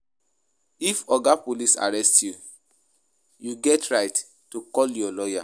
If oga police arrest you, you get right to call your lawyer